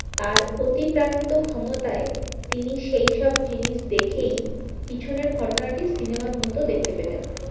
তার অতিপ্রাকৃত ক্ষমতায় তিনি সেইসব জিনিস দেখেই পিছনের ঘটনাটি সিনেমার মতো দেখতে পেতেন